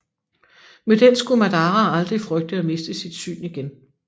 Med den skulle Madara aldrig frygte at miste sit syn igen